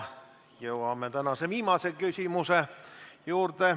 Jõuame tänase viimase küsimuse juurde.